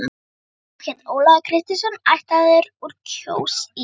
Sá hét Ólafur Kristinsson, ættaður úr Kjós í